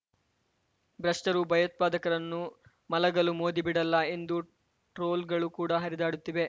ಭ್ರಷ್ಟರು ಭಯೋತ್ಪಾಕರನ್ನು ಮಲಗಲು ಮೋದಿ ಬಿಡಲ್ಲ ಎಂಬ ಟ್ರೋಲ್‌ಗಳು ಕೂಡ ಹರಿದಾಡುತ್ತಿವೆ